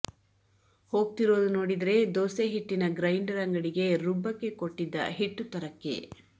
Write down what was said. ಹೋಗ್ತಿರೋದು ನೋಡಿದ್ರೆ ದೋಸೆ ಹಿಟ್ಟಿನ ಗ್ರೈಂಡರ್ ಅಂಗಡಿಗೆ ರುಬ್ಬಕ್ಕೆ ಕೊಟ್ಟಿದ್ದ ಹಿಟ್ಟು ತರಕ್ಕೆ